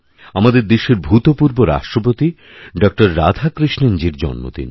আমাদের দেশের ভূতপূর্বরাষ্ট্রপতি ডক্টর রাধাকৃষ্ণণজীর জন্মদিন